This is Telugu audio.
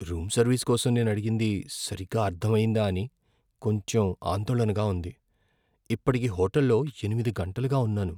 రూమ్ సర్వీస్ కోసం నేను అడిగింది సరిగ్గా అర్ధమయ్యిందా అని కొంచెం ఆందోళనగా ఉంది. ఇప్పటికి హోటల్లో ఎనిమిది గంటలుగా ఉన్నాను.